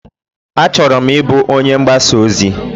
Achọrọ m Ịbụ onye mgbasa ozi.